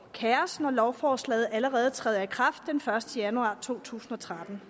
kaos når lovforslaget allerede træder i kraft den første januar to tusind og tretten